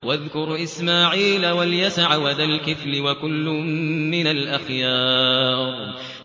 وَاذْكُرْ إِسْمَاعِيلَ وَالْيَسَعَ وَذَا الْكِفْلِ ۖ وَكُلٌّ مِّنَ الْأَخْيَارِ